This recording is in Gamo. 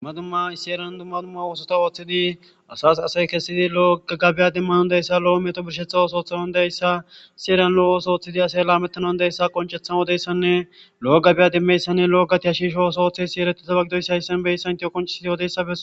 Dumma dumma issi heerani oththiza asati othidi asayi loo babiya demanasi loo birishsheththa oththo ddemanawi dizayisa heereni loo oththo oththidi lammetanawu dizayisa qoniccetha odiyayisane lo gatiya shisho oththo othtiyiyayisi hayisani eretiyayisa qonicisidi besesi